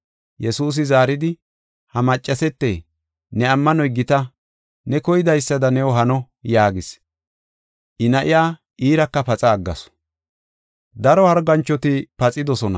Yesuusi zaaridi, “Ha maccasete, ne ammanoy gita; ne koydaysada new hano” yaagis. I na7iya iiraka paxa aggasu.